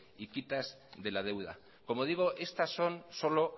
y quitas de la deuda como digo estas son solo